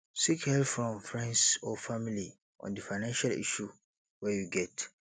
seek help from friends or family on di financial issue wey you get